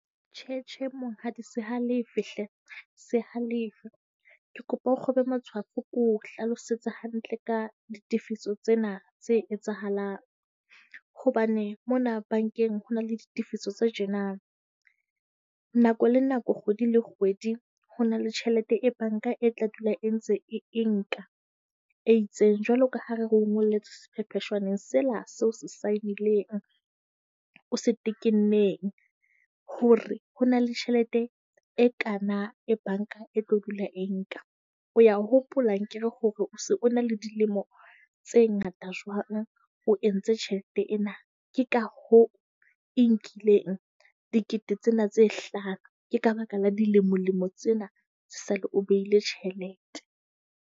Tjhe tjhe, monghadi. Se halefe hle, se halefe. Ke kopa o kgobe matshwafo, ko hlalosetse hantle ka ditefiso tsena tse etsahalang hobane mona bankeng ho na le ditefiso tse tjena. Nako le nako kgwedi le kgwedi, ho na le tjhelete e banka e tla dula e ntse e nka e itseng. Jwalo ka ha re re o ngolletse sephepheshwaneng sela seo se saenileng o se tekenneng, hore ho na le tjhelete e kaana, e banka e tla dula e nka. O a hopola akere hore na le dilemo tse ngata jwang, o entse tjhelete ena. Ke ka hoo e nkileng dikete tsena tse hlano. Ke ka baka la dilemolemo tsena tse sale o behile tjhelete.